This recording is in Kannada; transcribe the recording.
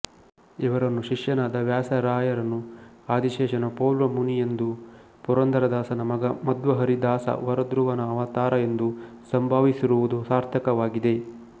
ಇವರನ್ನು ಶಿಷ್ಯನಾದ ವ್ಯಾಸರಾಯರನು ಆದಿಶೇಷನ ಪೋಲ್ವ ಮುನಿ ಎಂದೂ ಪುರಂದರದಾಸನ ಮಗ ಮಧ್ವಹರಿದಾಸ ವರುಧ್ರುವನ ಅವತಾರ ಎಂದೂ ಸಂಭಾವಿಸಿರುವುದು ಸಾರ್ಥಕವಾಗಿದೆ